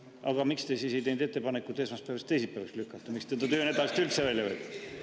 Aga miks te ei teinud ettepanekut esmaspäevast teisipäevaks lükata, miks te selle töönädalast üldse välja võtsite?